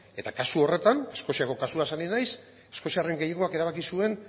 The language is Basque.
eta kasu horretan eskoziako kasuaz ari naiz eskoziarren gehiengoak erabaki zuen